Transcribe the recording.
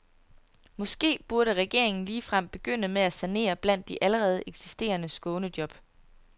Måske burde regeringen ligefrem begynde med at sanere blandt de allerede eksisterende skånejob.